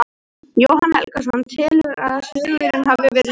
Jóhann Helgason telur að sigurinn hafi verið sanngjarn.